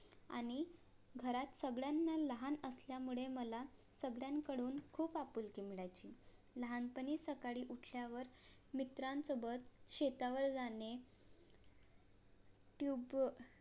आणि घरात सगळ्यांना लहान असल्यामुळे मला सगळ्यांकडून खूप आपुलकी मिळायची लहानपणी सकाळी उठल्या वर मित्रांसोबत शेतावर जाणे